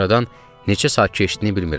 Aradan neçə saat keçdiyini bilmirəm.